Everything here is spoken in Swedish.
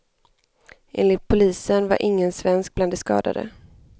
Enligt polisen var ingen svensk bland de skadade.